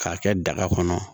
K'a kɛ daga kɔnɔ